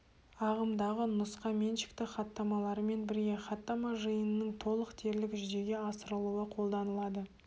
ағымдағы нұсқа меншікті хаттамаларымен бірге хаттама жиынының толық дерлік жүзеге асырылуы қолданылады